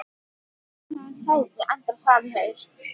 Í hvaða sæti endar Fram í haust?